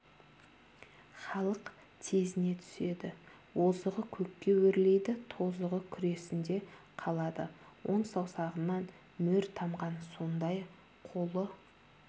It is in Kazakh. халық тезіне түседі озығы көкке өрлейді тозығы күресінде қалады он саусағынан мөр тамған сондай қолы